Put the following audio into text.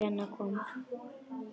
Nokkru eftir að Lena kom.